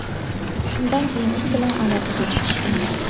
Shundan keyin u bilan aloqaga chiqishgan.